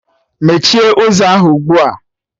Mechie ụzọ ahụ ugbua!